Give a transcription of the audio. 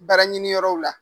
Baara ɲini yɔrɔw la